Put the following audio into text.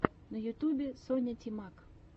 на ютюбе соня тимак